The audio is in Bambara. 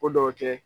Ko dɔw kɛ